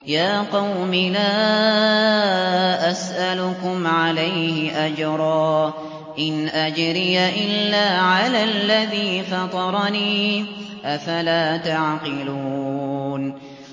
يَا قَوْمِ لَا أَسْأَلُكُمْ عَلَيْهِ أَجْرًا ۖ إِنْ أَجْرِيَ إِلَّا عَلَى الَّذِي فَطَرَنِي ۚ أَفَلَا تَعْقِلُونَ